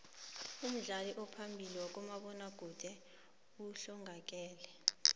umdlali ophambili wezabomabona kude uhlongakele